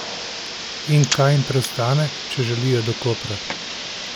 In kaj jim preostane, če želijo do Kopra?